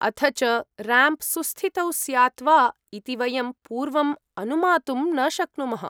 अथ च रैम्प् सुस्थितौ स्यात् वा इति वयं पूर्वम् अनुमातुं न शक्नुमः।